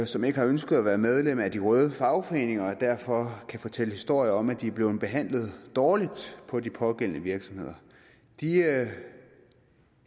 som ikke har ønsket at være medlem af de røde fagforeninger og derfor kan fortælle historier om at de er blevet behandlet dårligt på de pågældende virksomheder de